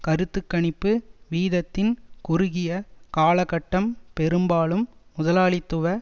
கருத்து கணிப்பு வீதத்தின் குறுகிய காலகட்டம் பெரும்பாலும் முதலாளித்துவ